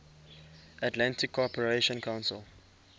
atlantic cooperation council